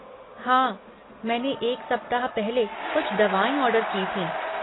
हाँ, मैंने एक सप्ताह पहले कुछ दवाएँ ऑर्डर की थीं।